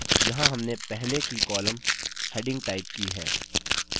यहाँ हमने पहले की column headings टाइप की है